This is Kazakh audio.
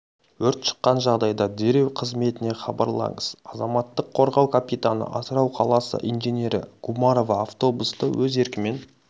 өрт шыққан жағдайда дереу қызметіне хабарлаңыз азаматтық қорғау капитаны атырау қаласы инженері гумарова автобусты өз еркімен